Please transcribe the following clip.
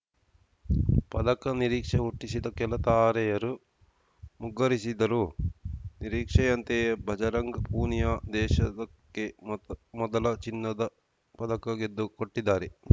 ಪದಕ ನಿರೀಕ್ಷೆ ಹುಟ್ಟಿಸಿದ್ದ ಕೆಲ ತಾರೆಯರು ಮುಗ್ಗರಿಸಿದರೂ ನಿರೀಕ್ಷೆಯಂತೆಯೇ ಭಜರಂಗ್‌ ಪೂನಿಯಾ ದೇಶಕ್ಕೆ ಮೊದಲ ಚಿನ್ನದ ಪದಕ ಗೆದ್ದುಕೊಟ್ಟಿದ್ದಾರೆ